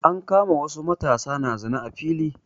An kama wasu matasa na zina a fili.